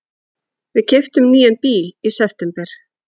Við keyptum nýjan bíl í september.